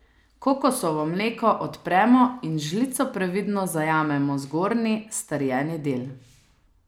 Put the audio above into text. Kokosovo mleko odpremo in z žlico previdno zajamemo zgornji, strjeni del.